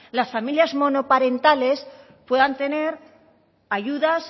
las familias monoparentales puedan tener ayudas